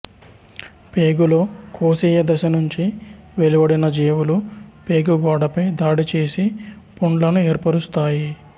పేగులో కోశీయ దశ నుంచి వెలువడిన జీవులు పేగు గోడపై దాడి చేసి పుండ్లను ఏర్పరుస్తాయి